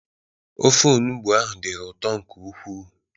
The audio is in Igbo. Ofe olugbo ahụ dịrị ụtọ nke ukwuu.